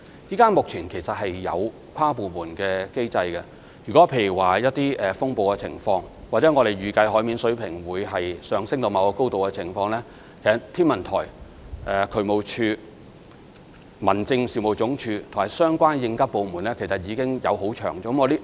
目前我們其實已有跨部門的機制，例如在出現風暴或我們預計海面水平上升至某個高度時，其實天文台、渠務署、民政事務總署，以及相關的應急部門已經有互相協調。